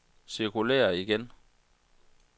cirkulér igen